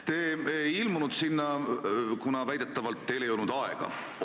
Te ei ilmunud sinna, kuna väidetavalt ei olnud teil aega.